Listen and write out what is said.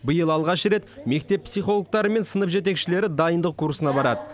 биыл алғаш рет мектеп психологтары мен сынып жетекшілері дайындық курсына барады